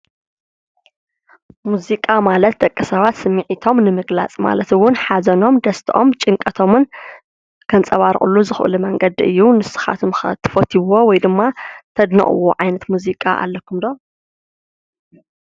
ሙዚቃ ማለት ደቂሰባት ስሚዒቶም ንምግላፅ ማለት እውን፦ ሓዘኖም፣ ደስተኦም፣ ጭንቀቶምን ከንፀባርቕሉ ዝኽእሉ መንገዲ እዩ። ንስኻትኩም ኸ ትፈትይዎ ወይ ድማ ተድንቕዎ ዓይነት ሙዚቃ ኣለኩም ዶ?